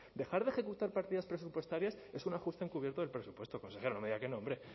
dejar de ejecutar partidas presupuestarias es un ajuste encubierto del presupuesto consejero no me diga que no hombre